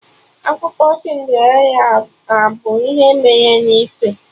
Akụkọ Cinderella abụ ihe mere na ife?